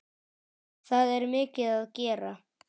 Það er mikið að gera.